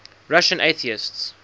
russian atheists